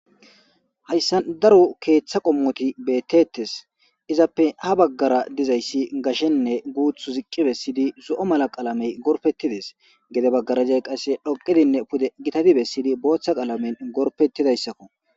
hayssa daro keeththa qommoti beettettes. izappe ha baggara dizayssi gashenne guuth ziqqi bessidi zo'o mala qalamey gorpettides gede baggarajay qasse dhoqedinne pude gitadi bessidi booththa qalamen gorpettidayssakko.